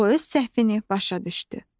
O öz səhvini başa düşdü.